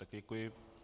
Také děkuji.